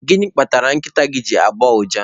Gịnị kpatara nkịta gị ji na-agbọ ụja?